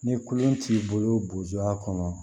Ni kolon t'i bolo boya kɔnɔ